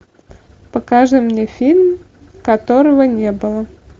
покажи мне фильм которого не было